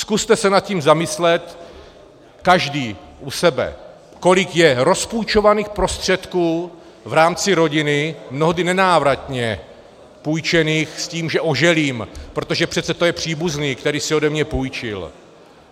Zkuste se nad tím zamyslet každý u sebe, kolik je rozpůjčovaných prostředků v rámci rodiny, mnohdy nenávratně půjčených s tím, že oželím, protože přece to je příbuzný, který si ode mě půjčil.